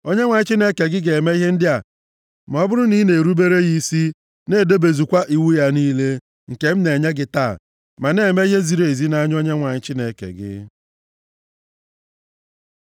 Onyenwe anyị Chineke gị ga-eme ihe ndị a ma ọ bụrụ na ị na-erubere ya isi, na-edebezukwa iwu ya niile, nke m na-enye gị taa, ma na-eme ihe ziri ezi nʼanya Onyenwe anyị Chineke gị.